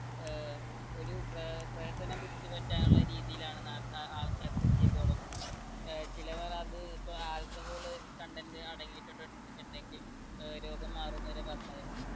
ഏർ ഒരു പ്ര പ്രഹസനം പിടിച്ചു പറ്റാനുള്ള രീതിയിലാണ് നാ ആഹ് ആൾക്കാര് ഇത് ചെയ്തത് തുടങ്ങുന്നത് ഏർ ചിലവരത് ഇപ്പൊ alcohol content അടങ്ങിയിട്ടുണ്ട് ണ്ടെങ്കിൽ ഏർ രോഗം മാറുംന്നു വരെ പറഞ്ഞായിരുന്നു